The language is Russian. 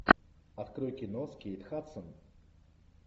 открой кино с кейт хадсон